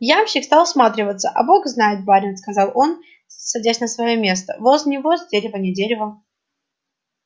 ямщик стал всматриваться а бог знает барин сказал он садясь на своё место воз не воз дерево не дерево